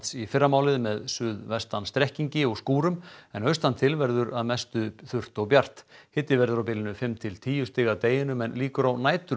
í fyrramálið með suðvestan strekkingi og skúrum en austantil verður að mestu þurrt og bjart hiti verður á bilinu fimm til tíu stig að deginum en líkur á